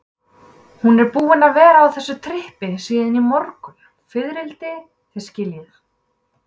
Hún er búin að vera á þessu trippi síðan í morgun, fiðrildi, þið skiljið.